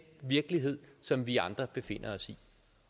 virkelighed som vi andre befinder os i